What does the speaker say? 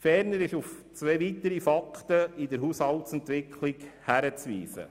Ferner ist auf zwei weitere Faktoren in der Haushaltsentwicklung hinzuweisen.